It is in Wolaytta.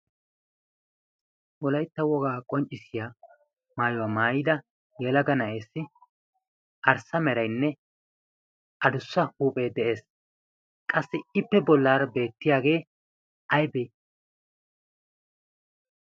wolaitta wogaa qonccissiya maayuwaa maayida yelaga na7ees arssa merainne adussa huuphee de7ees. qassi ippe bollaari beettiyaagee aibee?